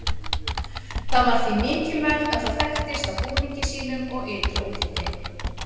það var því mikilvægt að það þekktist á búningi sínum og ytra útliti